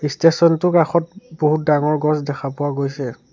ষ্টেচনটো টোৰ কাষত বহুত ডাঙৰ গছ দেখা পোৱা গৈছে।